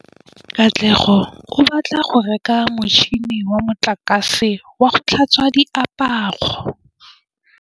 Katlego o batla go reka motšhine wa motlakase wa go tlhatswa diaparo.